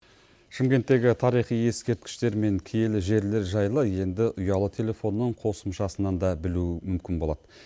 шымкенттегі тарихи ескерткіштер мен киелі жерлер жайлы енді ұялы телефонның қосымшасынан да білу мүмкін болады